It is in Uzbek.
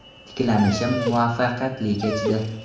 Tiklanishim muvaffaqiyatli kechdi.